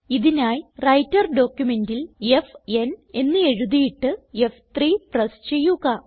ഇതിനായി വ്രൈട്ടർ ഡോക്യുമെന്റിൽ f n എന്ന് എഴുതിയിട്ട് ഫ്3 പ്രസ് ചെയ്യുക